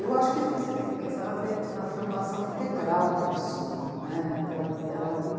Eu acho que você tem que pensar na formação integral da pessoa, né. Ela, ela